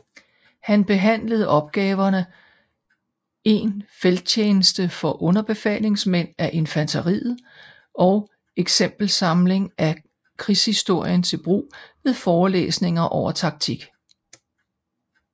Han behandlede opgaverne En Felttjeneste for Underbefalingsmænd af Infanteriet og Exempelsamling af Krigshistorien til Brug ved Forelæsninger over Taktik